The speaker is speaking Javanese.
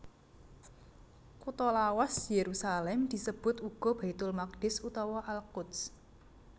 Kutha lawas Yerusalem disebut uga Baitul Maqdis utawa Al Quds